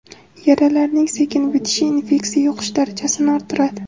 Yaralarning sekin bitishi infeksiya yuqish darajasini orttiradi.